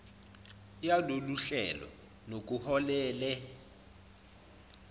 yalolu hlelo nokuholele